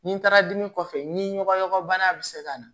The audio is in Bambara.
Ni taara dimi kɔfɛ ni ɲɔgɔn bana bɛ se ka na